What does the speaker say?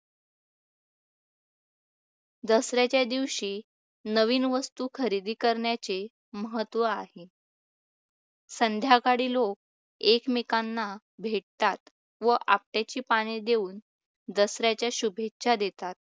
दसऱ्याच्या दिवशी नवीन वस्तू खरेदी करण्याचे महत्त्व आहे. संध्याकाळी लोक एकमेकांना भेटतात त्याची पाने देऊन दसऱ्याच्या शुभेच्छा देतात.